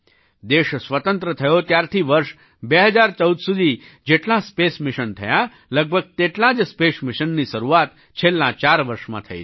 દેશ સ્વતંત્ર થયો ત્યારથી વર્ષ 2014 સુધી જેટલાં સ્પેસ મિશન થયાં લગભગ તેટલાં જ સ્પેશ મિશનની શરૂઆત છેલ્લાં ચાર વર્ષમાં થઈ છે